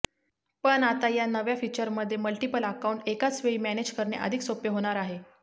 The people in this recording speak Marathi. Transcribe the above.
पण आता या नव्या फीचरमुळे मल्टिपल अकाऊंट एकाचवेळी मॅनेज करणे अधिक सोपे होणार आहे